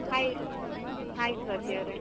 Hai hai ಸ್ವಾತಿಯವರೆ.